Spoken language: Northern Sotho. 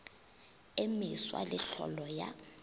e meswa le tlholo ya